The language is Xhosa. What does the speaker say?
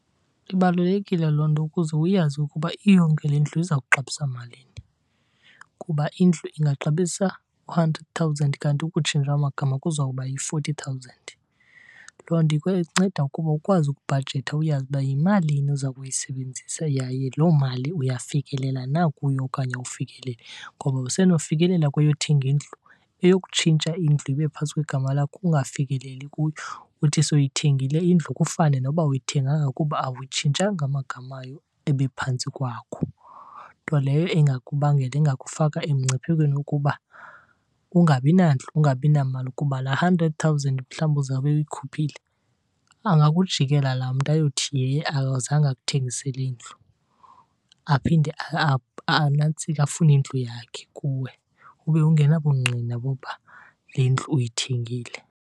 Ibalulekile loo nto ukuze uyazi ukuba iyonke le ndlu iza kuxabisa malini kuba indlu ingaxabisa u-hundred thousand kanti ukutshintsha amagama kuzawuba yi-forty thousand. Loo nto inceda ukuba ukwazi ukubhajetha uyazi uba yimalini oza kuyisebenzisa yaye loo mali uyafikelela na kuyo okanye awufikeleli. Ngoba usenokufikelela kweyothenga indlu, eyokutshintsha indlu ibe phantsi kwegama lakho ungafikeleli kuyo. Uthi soyithengile indlu kufane noba awuyithenganga kuba awuyitshintshanga amagama ayo ebephantsi kwakho. Nto leyo engakubangela, engakufaka emngciphekweni wokuba ungabi nandlu ungabi namali. Kuba laa hundred thousand mhlawumbi uzawube uyikhuphile, angakujikela laa mntu ayothi akazange akuthengisele ndlu, aphinde anantsike, afune indlu yakhe kuwe ube ungena bungqina bokuba le ndlu uyithengile.